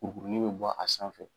Kurukurunin bɛ bɔ a sanfɛ.